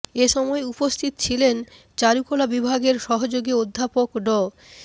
এ সময় উপস্থিত ছিলেন চারুকলা বিভাগের সহযোগী অধ্যাপক ড